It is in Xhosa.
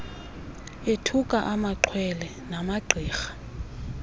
ethuka amaxhwele namagqirha